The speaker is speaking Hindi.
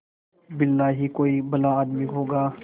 बिरला ही कोई भला आदमी होगा